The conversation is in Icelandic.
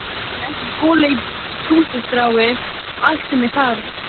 En er ekki gola í puntstrái allt sem ég þarf?